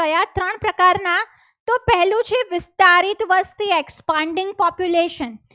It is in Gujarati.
Expanding population